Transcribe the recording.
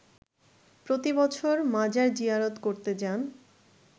প্রতিবছর মাজার জিয়ারত করতে যান